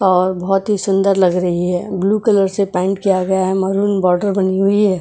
और बहुत ही सुंदर लग रही है ब्लू कलर से पेंट किया गया है महरून बॉर्डर बनी हुई है।